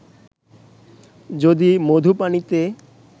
যদি মধু পানিতে